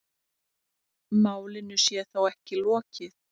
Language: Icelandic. Málinu sé þó ekki lokið.